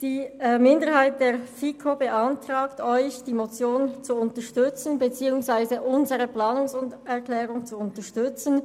Die Minderheit der FiKo beantragt Ihnen, die Motion und die Planungserklärung der FiKo-Minderheit zu unterstützen.